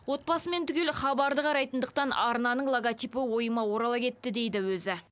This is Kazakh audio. отбасымен түгел хабарды қарайтындықтан арнаның логотипі ойыма орала кетті дейді өзі